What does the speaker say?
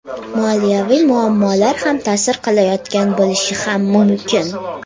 Moliyaviy muammolar ham ta’sir qilayotgan bo‘lishi ham mumkin.